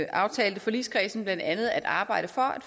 aftalte forligskredsen blandt andet at arbejde for at